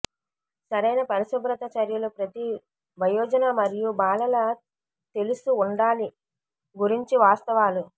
సరైన పరిశుభ్రత చర్యలు ప్రతి వయోజన మరియు బాలల తెలుసు ఉండాలి గురించి వాస్తవాలు